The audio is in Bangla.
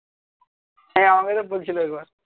হ্যাঁ আমাকে তো বলছিলো একবার